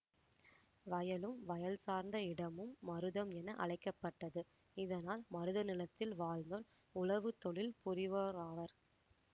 வயலும் வயல் சார்ந்த இடமும் மருதம் என அழைக்க பட்டது இதனால் மருத நிலத்தில் வாழ்ந்தோர் உழவுத் தொழில் புரிவோராவர்